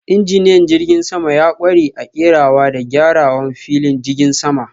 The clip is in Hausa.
Injiniyan jirgin sama ya kware a kerawa da gyarawan filin jigin sama.